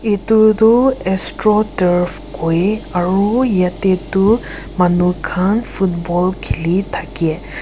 edu tu astro turf koi aro yatae tu manu khan football khili thakae